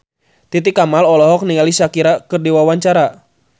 Titi Kamal olohok ningali Shakira keur diwawancara